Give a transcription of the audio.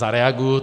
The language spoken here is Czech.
Zareaguji.